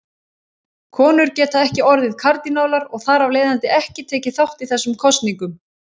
Konur geta ekki orðið kardínálar og þar af leiðandi ekki tekið þátt í þessum kosningum.